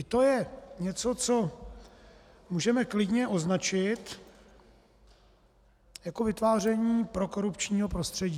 I to je něco, co můžeme klidně označit jako vytváření prokorupčního prostředí.